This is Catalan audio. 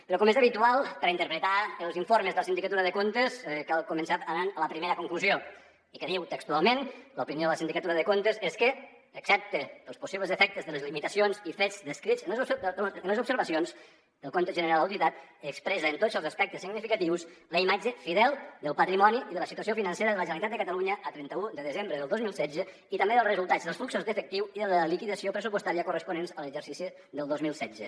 però com és habitual per a interpretar els informes de la sindicatura de comptes cal començar anant a la primera conclusió que diu textualment l’opinió de la sindicatura de comptes és que excepte els possibles efectes de les limitacions i fets descrits en les observacions el compte general auditat expressa en tots els aspectes significatius la imatge fidel del patrimoni i de la situació financera de la generalitat de catalunya a trenta un de desembre del dos mil setze i també dels resultats dels fluxos d’efectiu i de la liquidació pressupostària corresponents a l’exercici del dos mil setze